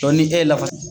ni e ye lafasali